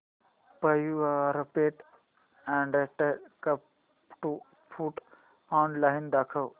Purepet adult cat food online दाखव